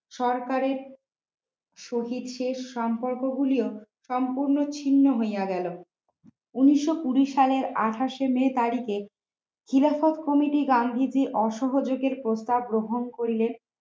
সবার পরে সূচির শেষ সম্পর্কগুলিও সম্পূর্ণ চির হইয়া গেল উনিশ শো কুড়ি সালের আঠাশ শে মে তারিখে খিলাফত committee গান্ধীজি অসহযোগে প্রস্তাব গ্রহণ করিলেন